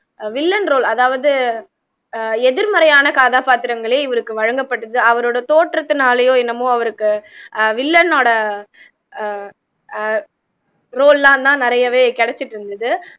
villain role அதாவது ஆஹ் எதிமறையான கதாப்பாத்திரங்களே இவருக்கு வழங்கப்பட்டது அவரோட தோற்றத்துனாலயோ என்னமோ அவருக்கு ஆஹ் villain ஒட ஆஹ் ஆஹ் role எல்லாம் தான் நிறையவே கிடச்சுட்டு இருந்துது